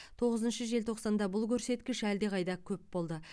тоғызыншы желтоқсанда бұл көрсеткіш әлдеқайда көп болды